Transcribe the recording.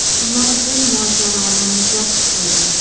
Ular bu mojaroni muzlatib qo‘ydi.